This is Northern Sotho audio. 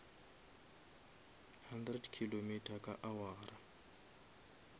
hundred kilometer ka awara